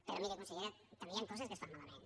però miri consellera també hi han coses que es fan malament